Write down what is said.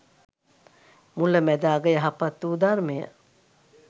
මුල, මැද, අග යහපත්වූ ධර්මය